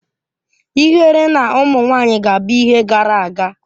Ihere na ụmụ nwanyị ga-abụ ihe gara aga